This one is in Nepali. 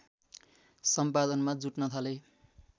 सम्पादनमा जुट्न थाले